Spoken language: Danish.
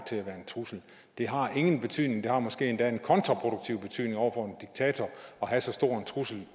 til at være en trussel det har ingen betydning det har måske endda en kontraproduktiv betydning over for en diktator at have så stor en trussel